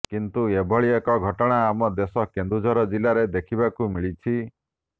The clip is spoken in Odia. କିନ୍ତୁ ଏଭଳି ଏକ ଘଟଣା ଆମ ଦେଶ କେନ୍ଦୁଝର ଜିଲ୍ଲାରେ ଦେଖିବାକୁ ମିଳିଛି